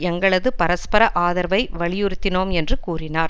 எங்களது பரஸ்பர ஆதரவை வலியுறுத்தினோம் என்று கூறினார்